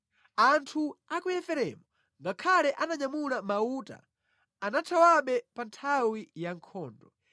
Anthu a ku Efereimu, ngakhale ananyamula mauta, anathawabe pa nthawi ya nkhondo;